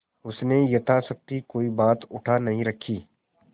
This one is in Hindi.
उसने यथाशक्ति कोई बात उठा नहीं रखी